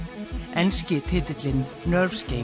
enski titillinn